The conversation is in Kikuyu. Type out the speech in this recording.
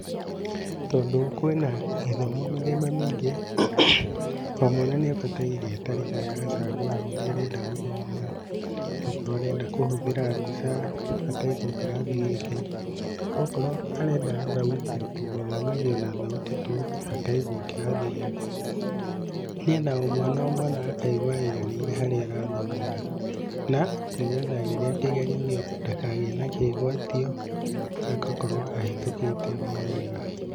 Tondũ kwĩna gĩthomo mĩthemba mĩingĩ, o mwana nĩ abataire ta rĩngĩ agacagũra ũrĩa arenda gũthoma, okorwo arenda kũhũthĩra mbica, akaigwo kĩrathi gĩake, okorwo arenda thauti tu, gũthomithio na thauti tu, akaigwo kĩrathi gĩake, nĩgetha o mwana o mwana akaigua aiganĩire harĩa arathomera, na nĩgetha rĩrĩa kĩgerio gĩoka, ndakagĩe na kĩgwatio, agakorwo ahĩtũkĩte o wega.